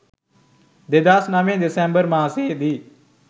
2009 December මාසයේදී